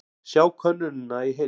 Sjá könnunina í heild